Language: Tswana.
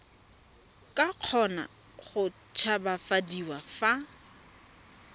ka kgona go tshabafadiwa fa